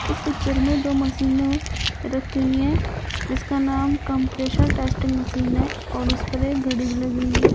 इस पिक्चर में दो मशीने रखी हुई है जिसका नाम कंप्रेशर टेस्टिंग मशीन है और उस पर एक घड़ी भी लगी हुई है।